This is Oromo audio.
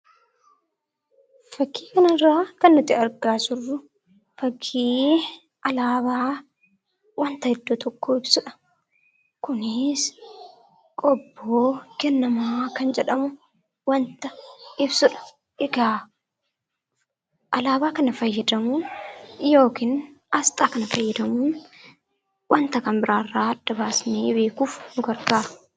Fakkii kana irraa kan nuti argaa jirru, fakkii alaabaa waanta ergaa tokkoo ibsudha. Kunis kobo kenema kan jedhamu waanta ibsudha. Alaabaa kana fayyadamuun yookiin asxaa kana fayyadamuun waanta kan biraa irraa adda baasnee beekuuf nu gargaara